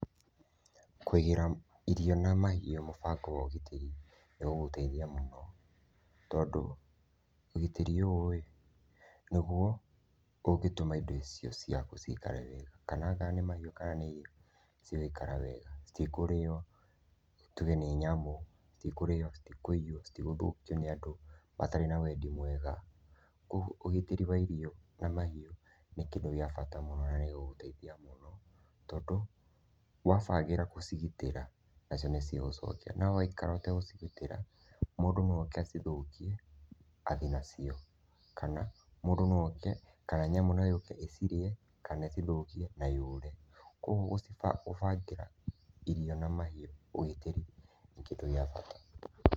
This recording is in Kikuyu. Kũigĩra irio na mahiũ mũbango wa ũgitĩrĩ nĩ gũgũteithia mũno tondũ ũgitĩri ũyũ ĩ, nĩguo ũngĩtũma indo icio ciaku ciikare wega. Kananga nĩ mahiũ kana nĩ irio cigaikara wega, citikũrĩo tuge nĩ nyamũ, citikũrĩo, citikũiywo, citigũthũkio nĩ andũ matarĩ na wendi mwega. Kwoguo, ũgitĩri wa irio na mahiũ nĩ kĩndũ gĩa bata mũno na nĩ gũgũteithia mũno tondũ wabangĩra kũcigitĩra nacio nĩ cigũcokia. No waikara ũtegũcigitĩra, mũndũ no oke acithũkie, athiĩ nacio kana, mũndũ no oke, kana nyamũ no yũke ĩciirie kana ĩcithũkie na yũre. Kwoguo, gũcibangĩra gũbangĩra irio na mahiũ ũgitĩri ni kĩndũ gĩa bata.